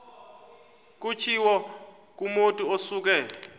kutshiwo kumotu osuke